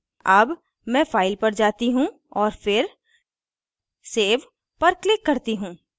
अब मैं file पर जाती हूँ और फिर save पर click करती हूँ